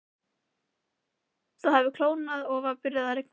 Það hafði kólnað og var byrjað að rigna.